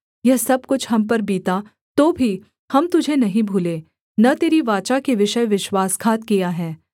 यह सब कुछ हम पर बीता तो भी हम तुझे नहीं भूले न तेरी वाचा के विषय विश्वासघात किया है